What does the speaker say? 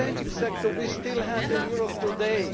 is the banking sector we still have in Europe today.